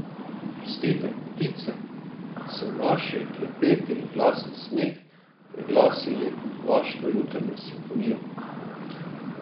Oprostite, ptice, da so naši klepeti in glasen smeh preglasili vašo jutranjo simfonijo.